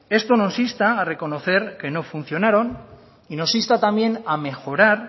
esto nos insta a reconocer que no funcionaron y nos insta también a mejorar